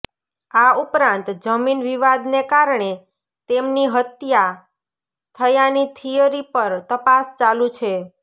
આ ઉપરાંત જમીન વિવાદને કારણે તેમની હત્યા થયાની થીયરી પર તપાસ ચાલુ છે